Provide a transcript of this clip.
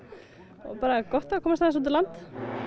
og bara gott að komast aðeins út á land